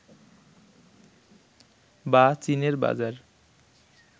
বা চীনের বাজার